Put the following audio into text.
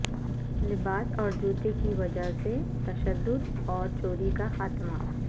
لباس اور جوتے کی وجہ سے تشدد اور چوری کا خاتمہ